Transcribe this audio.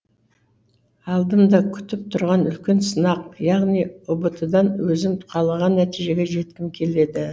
алдым да күтіп тұрған үлкен сынақ яғни ұбт дан өзім қалаған нәтижеге жеткім келеді